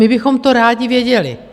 My bychom to rádi věděli.